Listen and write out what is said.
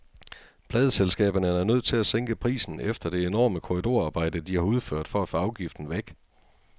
Pladeselskaberne er nødt til at sænke prisen efter det enorme korridorarbejde, de har udført for at få afgiften væk.